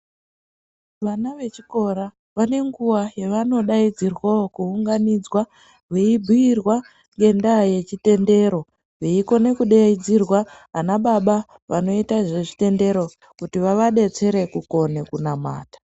Vana vechikora vane nguva yavanodaidzirwawo kounganidzwa ,veibhiirwa ngendaa yechitendero, veikone kudeidzirwa anababa anoita zvechitendero, kuti vavadetsere kukone kunamata.